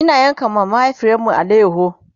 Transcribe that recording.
Ina yanka wa mahaifiyarmu alayaho